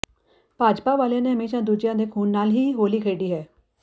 ਭਾਜਪਾ ਵਾਲਿਆਂ ਨੇ ਹਮੇਸ਼ਾ ਦੂਜੀਆਂ ਦੇ ਖ਼ੂਨ ਨਾਲ ਹੀ ਹੋਲੀ ਖੇਡੀ ਹੈ